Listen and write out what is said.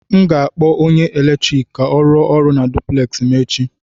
M ga-akpọ onye eletrik ka ọ rụọ ọrụ na duplex m echi